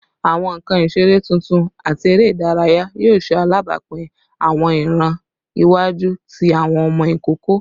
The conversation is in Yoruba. Awọn nkan isere tuntun ati ere idaraya yoo ṣe alabapin awọn iran iwaju ti awọn ọmọ ikoko